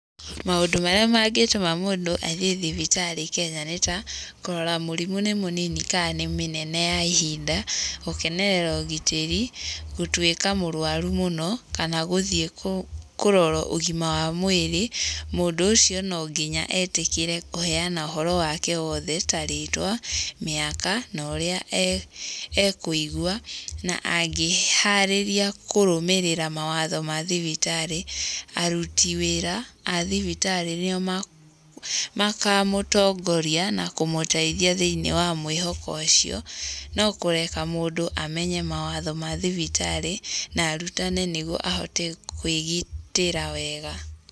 Maũndũ marĩa mangĩtũma mũndũ athiĩ thibitarĩ Kenya nĩ ta, kũrora mũrimũ nĩ mũnini ka nĩ mĩnene ya ihinda, gũkenerera ũgitĩri, gũtuĩka mũrũaru mũno kana gũthiĩ kũrorwo ũgima wa mwĩrĩ. Mũndũ ũcio no nginya etĩkĩre kũheana ũhoro wake wothe ta rĩtwa, mĩaka na ũrĩa ekũigwa, na angĩĩharĩria kũrũmĩrĩra mawatho ma thibitarĩ, aruti wĩra a thibitarĩ, rĩrĩa makamũtongoria na kũmũteithia thĩinĩ wa mwĩhoko ũcio, no kũreka mũndũ amenye mawatho ma thibitarĩ na arutane nĩguo ahote kũĩgitĩra wega.